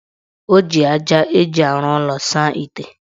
O ji aja eji arụ ụlọ saa ite.